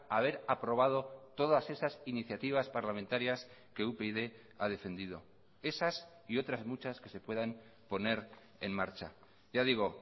haber aprobado todas esas iniciativas parlamentarias que upyd ha defendido esas y otras muchas que se puedan poner en marcha ya digo